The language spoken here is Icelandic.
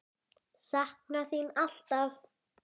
Sakna þín alltaf.